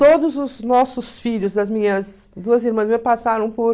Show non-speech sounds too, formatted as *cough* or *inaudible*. Todos os nossos filhos, as minhas duas irmãs *unintelligible* passaram *unintelligible*